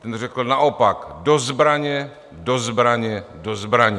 On řekl naopak: Do zbraně, do zbraně, do zbraně!